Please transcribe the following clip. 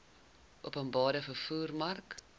openbare vervoer mark